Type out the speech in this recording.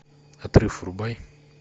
отрыв врубай